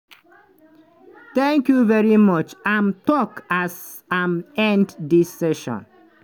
thank you very much" im tok as im end di session.